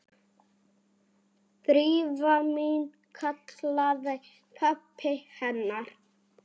Drífa mín- kallaði pabbi hennar.